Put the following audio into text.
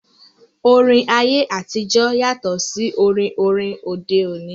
Orin ayé àtijọ́ yàtọ̀ sí orin orin òde òní